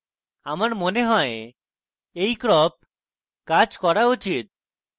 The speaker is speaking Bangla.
আমার মনে হয় এই crop কাজ করা উচিত